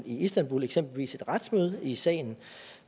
istanbul eksempelvis et retsmøde i sagen